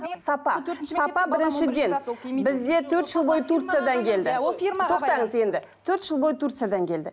сапа сапа біріншіден бізде төрт жыл бойы турциядан келді тоқтаңыз енді төрт жыл бойы турциядан келді